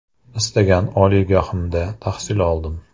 Istagan oliygohimda tahsil oldim.